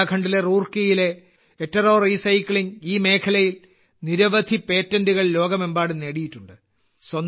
ഉത്തരാഖണ്ഡിലെ റൂർക്കിയിലെ എട്ടെറോ റീസൈക്ലിംഗ് ഈ മേഖലയിൽ നിരവധി പേറ്റന്റുകൾ ലോകമെമ്പാടും നേടിയിട്ടുണ്ട്